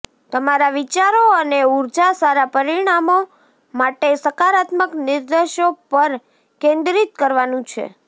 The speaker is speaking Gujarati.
તમારા વિચારો અને ઉર્જા સારા પરિણામો માટે સકારાત્મક નિર્દેશો પર કેન્દ્રિત કરવાનું છે